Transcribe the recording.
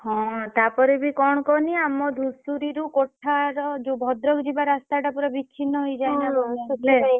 ହଁ ତାପରେ ବି କଣ କହନି ଆମ ଧୂସୁରୀ ରୁ କୋଠା ର ଯୋଉ ଭଦ୍ରକ ଯିବା ରାସ୍ତା ଟା ପୁରା ବିଚ୍ଛିନ୍ନ ହେଇଯାଏ ନା